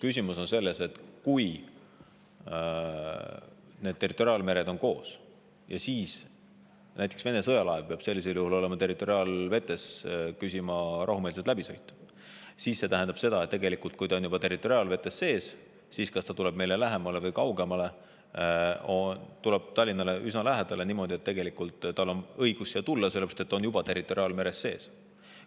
Küsimus on selles, et kui territoriaalmeri on koos – sel juhul peab näiteks Vene sõjalaev küsima võimalust territoriaalvetest rahumeelseks läbisõiduks –, siis see tähendab seda, et kui laev on juba territoriaalvetes sees, siis on ükskõik, kas ta tuleb meile lähemale või kaugemale, ta tuleb Tallinnale üsna lähedale ja niimoodi on tal tegelikult õigus siia tulla, sest ta on juba territoriaalmeres sees.